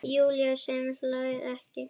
Júlía sem hlær ekki.